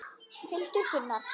Hildur og Gunnar.